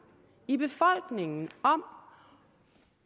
i befolkningen